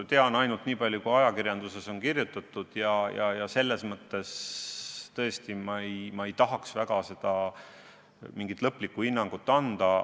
Tean ainult nii palju, kui ajakirjanduses on kirjutatud, ja selles mõttes ma tõesti ei tahaks mingit lõplikku hinnangut anda.